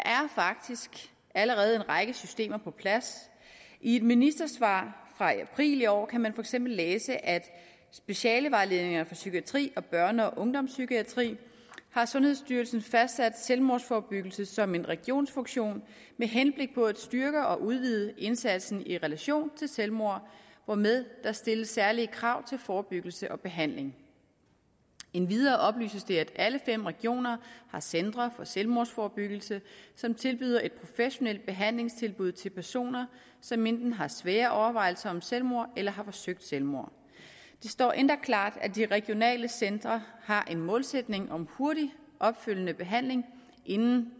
faktisk allerede en række systemer på plads i et ministersvar fra april i år kan man for eksempel læse i specialevejledningerne for psykiatri og børne og ungdomspsykiatri har sundhedsstyrelsen fastsat selvmordsforebyggelse som en regionsfunktion med henblik på at styrke og udvide indsatsen i relation til selvmord hvormed der stilles særlige krav til forebyggelse og behandling endvidere oplyses det alle fem regioner har centre for selvmordsforebyggelse som tilbyder et professionelt behandlingstilbud til personer som enten har svære overvejelser om selvmord eller har forsøgt selvmord det står endda klart her at de regionale centre har en målsætning om hurtig opfølgende behandling inden